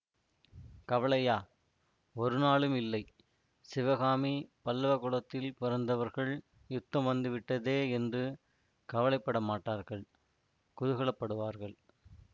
கவலையா ஒருநாளும் இல்லை சிவகாமி பல்லவ குலத்தில் பிறந்தவர்கள் யுத்தம் வந்துவிட்டதே என்று கவலை பட மாட்டார்கள் குதூகல படுவார்கள்